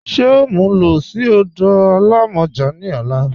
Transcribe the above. Ṣe o mú ú lọ sí ọdọ alámọ́jà ni ọ̀là?